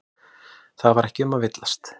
Það var ekki um að villast.